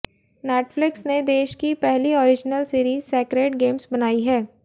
Netflix ने देश की पहली ओरीजनल सीरीज सैक्रेड गेम्स बनाई है